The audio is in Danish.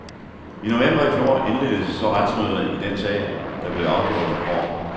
I november i fjor indledtes så retsmøderne i den sag, der blev afgjort i går.